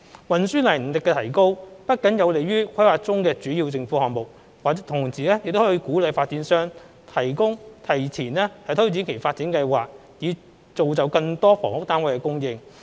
運輸能力的提高不僅有利於規劃中的主要政府項目，同時能鼓勵發展商提前推展其發展計劃以造就更多房屋單位的供應。